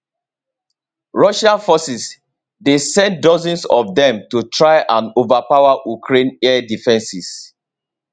russian forces dey send dozens of dem to try and overpower ukraine air defences